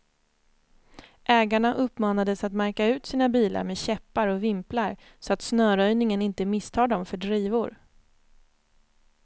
Ägarna uppmanades att märka ut sina bilar med käppar och vimplar, så att snöröjningen inte misstar dem för drivor.